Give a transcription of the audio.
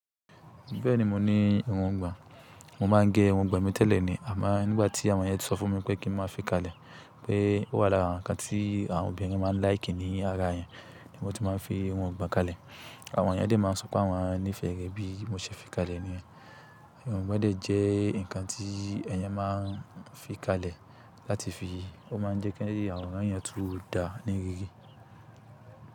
Bẹ́ẹ̀ni mo ní irun ìgbàn, mo máa ń gé irun ìgbàn mi tẹ́lẹ̀ ni, àmá nígbà tí àwọn ẹnìyàn tí sọ fún mi pé kí n máa fi kalẹ̀, pé ó wà lára nǹkan tí àwọn obìnrin máa ń láìkì ní ara èyàn ni mo ti máa ń fi irun ìgbàn kalẹ̀. Àwọn ẹnìyàn dẹ́ máa ń sọ pé àwọn nífẹ̀ẹ́ rẹ̀ bí mo ṣẹ̀ fi kalẹ̀ ni yen. Irun ìgbàn dẹ́ jẹ́ nǹkan tí èèyàn máa ń fi kalẹ̀ láti fi, ó máa ń jẹ́ kí àwọ̀rán èèyàn tún dáa ní rírí.